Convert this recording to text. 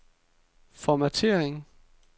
formattering